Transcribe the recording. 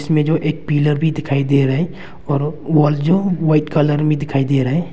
इसमें जो एक पिलर भी दिखाई दे रहे हैं और वॉल जो व्हाइट कलर में दिखाई दे रहे हैं।